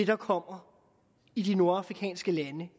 der kommer i de nordafrikanske lande